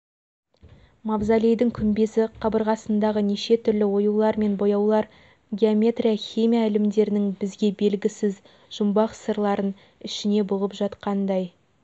мавзолейдің күмбезі қабырғасындағы неше түрлі оюлар мен бояулар геометрия химия ілімдерінің бізге белгісіз жұмбақ сырларын ішіне бұғып жатқандай